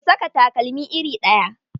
Ku saka takalma iri ɗaya.